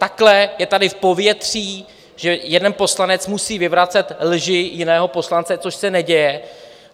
Takhle je tady v povětří, že jeden poslanec musí vyvracet lži jiného poslance, což se neděje.